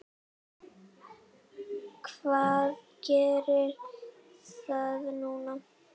Hvað gerir það núna?